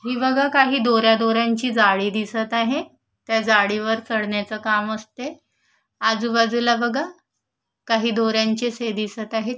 हि बघा काही दोऱ्या दोऱ्या ची जाळी दिसत आहे त्या जाळीवर चढण्याच काम असते आजूबाजूला बघा काही दोऱ्यांचे हे दिसत आहेत.